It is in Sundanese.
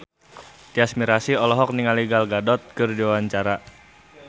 Tyas Mirasih olohok ningali Gal Gadot keur diwawancara